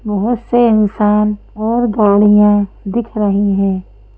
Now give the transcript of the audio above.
बहुत से इंसान और गाड़ियां दिख रही हैं।